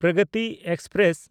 Pragati express